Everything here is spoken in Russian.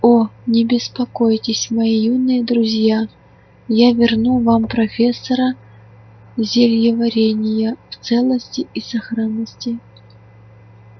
о не беспокойтесь мои юные друзья я верну вам профессора зельеварения в целости и сохранности